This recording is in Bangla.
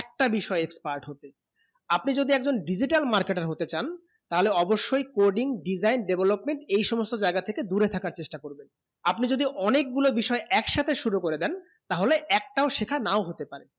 একটা বিষয়ে expert হতে আপনি যদি একজন digital marketer হতে চান তালে অৱশ্যে coding design development এই সমস্ত জায়গা থেকে দূরে থাকা চেষ্টা করবে আপনি যদি অনেক গুলু বিষয়ে এক সাথে শুরু করেদেন তা হলে একটাও শেখা না হতে পারে